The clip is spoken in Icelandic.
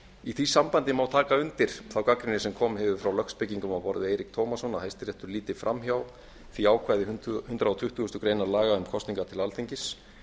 í því sambandi má taka undir þá gagnrýni sem komið hefur frá lögspekingum á borð við eirík tómasson að hæstiréttur líti fram hjá því ákvæði hundrað tuttugasta grein laga um kosningar til alþingis